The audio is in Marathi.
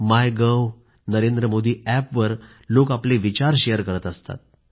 मायगव्ह आणि नरेंद्रमोदीअॅपवर लोक आपले विचार शेअर करीत असतात